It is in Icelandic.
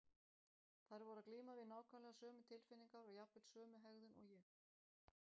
Þær voru að glíma við nákvæmlega sömu tilfinningar og jafnvel sömu hegðun og ég.